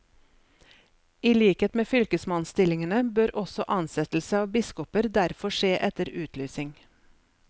I likhet med fylkesmannsstillingene bør også ansettelse av biskoper derfor skje etter utlysing.